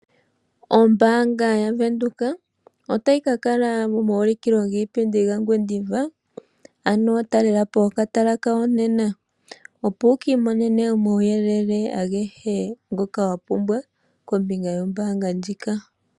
Ombaanga yaVenduka otayi kakala momaulikilo giipindi mOngwediva , ano taalelapo okatala kawo nena opo wukiimonene omauyelele agehe ngoka wapumbwa kombinga yombaanga ndjika.